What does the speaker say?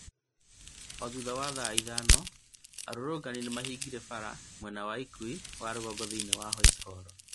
O thutha wa thaa ithano ri, arũrũngani nĩmahingire bara mwena wa ũkuui wa rũgongo thĩinĩ wa Whitehall